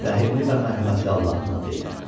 Rəhimli və mərhəmətli Allahın adı ilə.